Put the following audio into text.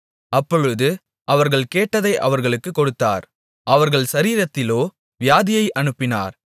அப்பொழுது அவர்கள் கேட்டதை அவர்களுக்குக் கொடுத்தார் அவர்கள் சரீரத்திலோ வியாதியை அனுப்பினார்